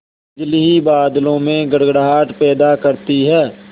बिजली ही बादलों में गड़गड़ाहट पैदा करती है